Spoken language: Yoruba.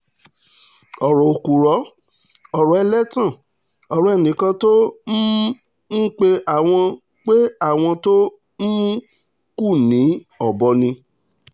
ọ̀rọ̀ òpùrọ́ ọ̀rọ̀ ẹlẹ́tàn ọ̀rọ̀ ẹnìkan tó um ń pe àwọn pe àwọn tó um kù ní ọ̀bọ ni